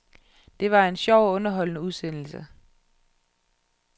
Det var en sjov og underholdende udsendelse.